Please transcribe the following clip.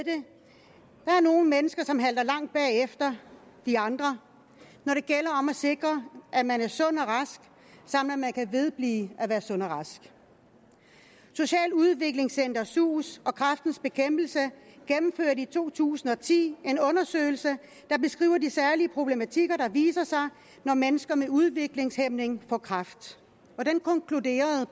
nogle mennesker som halter langt bagefter andre når det gælder om at sikre at man er sund og rask samt at man kan vedblive at være sund og rask socialt udviklingscenter sus og kræftens bekæmpelse gennemførte i to tusind og ti en undersøgelse der beskriver de særlige problematikker der viser sig når mennesker med udviklingshæmning får kræft og den konkluderede